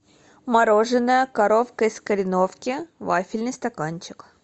мороженое коровка из кореновки вафельный стаканчик